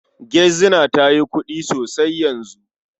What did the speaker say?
Gizina ta yi kuɗi sosai yanzu.